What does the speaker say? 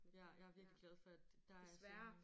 Ja jeg er virkelig glad for at der er jeg sådan